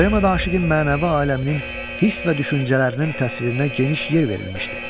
Poemada aşiqin mənəvi aləminin hiss və düşüncələrinin təsvirinə geniş yer verilmişdi.